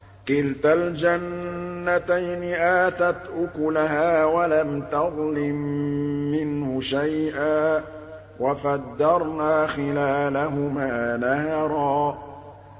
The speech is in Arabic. كِلْتَا الْجَنَّتَيْنِ آتَتْ أُكُلَهَا وَلَمْ تَظْلِم مِّنْهُ شَيْئًا ۚ وَفَجَّرْنَا خِلَالَهُمَا نَهَرًا